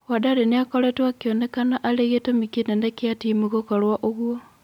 Wandari nĩakoretwo akĩonekana arĩgĩtũmi kĩnene kĩa timu gũkorwo ũguo.